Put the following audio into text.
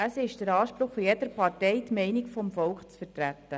Es ist der Anspruch jeder Partei, die Meinung des Volkes zu vertreten.